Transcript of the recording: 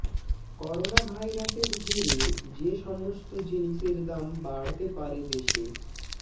corona ভাইরাসের জেরে যে সমস্ত জিনিসের দাম বাড়তে পারে দেশে